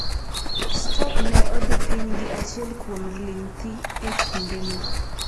Stoke ne odhi piny gi achiel kuom ling thi e kindeno.